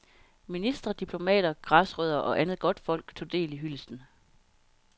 Ministre, diplomater, græsrødder og andet godtfolk tog del i hyldesten.